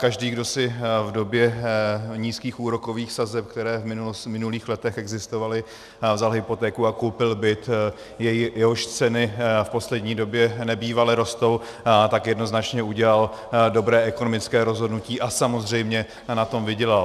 Každý, kdo si v době nízkých úrokových sazeb, které v minulých letech existovaly, vzal hypotéku a koupil byt, jehož ceny v poslední době nebývale rostou, tak jednoznačně udělal dobré ekonomické rozhodnutí a samozřejmě na tom vydělal.